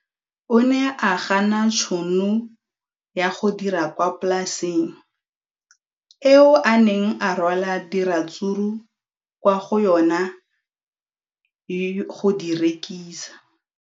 O ne a gana tšhono ya go dira kwa polaseng eo a neng rwala diratsuru kwa go yona go di rekisa.